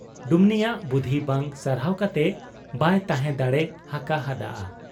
ᱰᱩᱢᱱᱤᱭᱟᱜ ᱵᱩᱫᱷᱤ ᱵᱟᱝ ᱥᱟᱨᱦᱟᱣ ᱠᱟᱛᱮ ᱵᱟᱭ ᱛᱟᱦᱮᱸ ᱫᱟᱲᱮ ᱟᱠᱟ ᱦᱟᱫ ᱟ ᱾